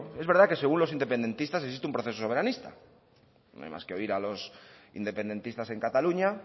es verdad que según los independentistas existe un proceso soberanista no hay más que oír a los independentistas en cataluña